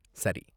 சரி